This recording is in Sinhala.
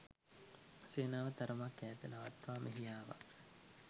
සේනාව තරමක් ඈත නවත්වා මෙහි ආවා